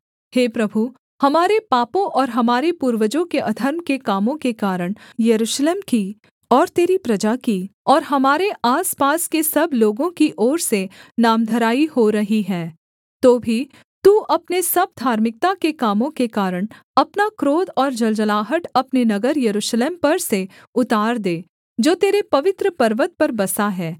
हे प्रभु हमारे पापों और हमारे पूर्वजों के अधर्म के कामों के कारण यरूशलेम की और तेरी प्रजा की और हमारे आसपास के सब लोगों की ओर से नामधराई हो रही है तो भी तू अपने सब धार्मिकता के कामों के कारण अपना क्रोध और जलजलाहट अपने नगर यरूशलेम पर से उतार दे जो तेरे पवित्र पर्वत पर बसा है